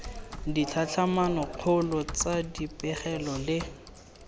ditlhatlhamano kgolo tsa dipegelo le